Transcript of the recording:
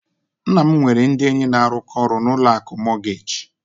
Nna m nwere ndị enyi na-arụkọ ọrụ na ụlọ akụ mọọgeeji.